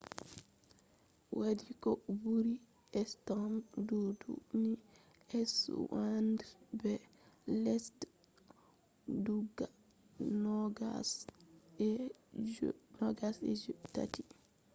o wadi ko buri stamp dubu ni sweden be lesde guda nogas e je tati